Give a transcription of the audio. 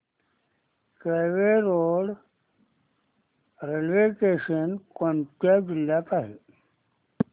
Kelve road railway station कोणत्या जिल्ह्यात आहे